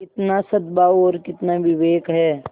कितना सदभाव और कितना विवेक है